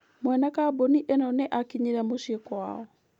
Mwene kambuni ĩyo nĩ aakinyire mũciĩ kwao.